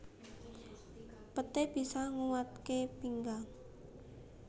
Peté bisa nguwataké pinggang